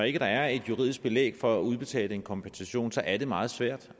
ikke er et juridisk belæg for at udbetale en kompensation så er det meget svært